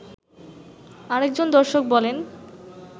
আরেকজন দর্শক বলেন